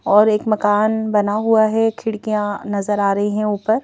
और एक मकान बना हुआ है खिड़कियां नजर आ रही है ऊपर।